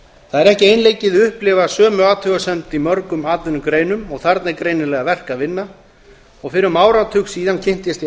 það er ekki einleikið að upplifa sömu athugasemd í mörgum atvinnugreinum og þarna er greinilega verk að vinna fyrir um áratug síðan kynntist ég